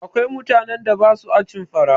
Akwai mutanen da ba sua cin fa ra